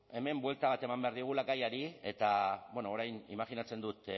hemen buelta bat eman behar diogula gaiari eta bueno orain imajinatzen dut